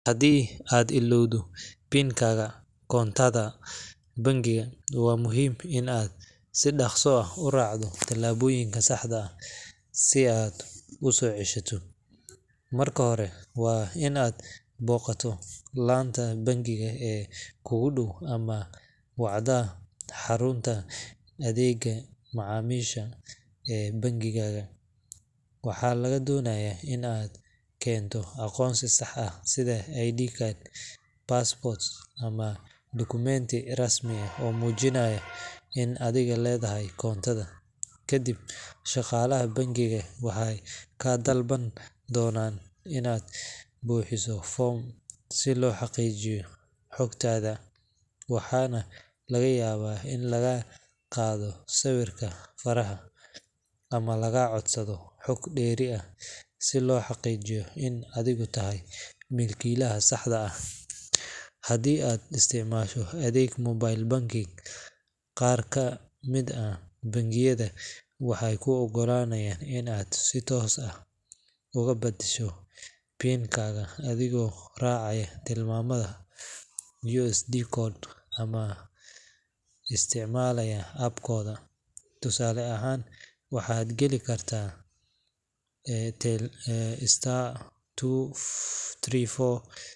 Haddii aad illowdo PIN-ka koontadaada bangiga, waa muhiim in aad si dhaqso ah u raacdo tallaabooyinka saxda ah si aad u soo ceshato. Marka hore, waa in aad booqataa laanta bangiga ee kuugu dhow ama wacdaa xarunta adeegga macaamiisha ee bangigaaga. Waxaa lagaa doonayaa in aad keento aqoonsi sax ah sida ID card, passport ama dukumenti rasmi ah oo muujinaya in adigu leedahay koontada. Kadib, shaqaalaha bangigu waxay kaa dalban doonaan inaad buuxiso foom si loo xaqiijiyo xogtaada, waxaana laga yaabaa in lagaa qaado sawirka faraha ama lagaa codsado xog dheeri ah si loo xaqiijiyo in adigu tahay milkiilaha saxda ah. Haddii aad isticmaalayso adeeg mobile banking, qaar ka mid ah bangiyada waxay kuu oggolaanayaan in aad si toos ah uga beddesho PIN-ka adigoo raacaya tilmaamo USSD code ah ama isticmaalaya app-kooda. Tusaale ahaan, waxaad geli kartaa *234#.